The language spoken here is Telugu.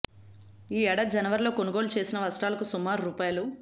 ఈ ఏడాది జనవరిలో కొనుగోలు చేసిన వస్త్రాలకు సుమారు రూ